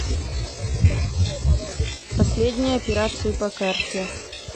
последние операции по карте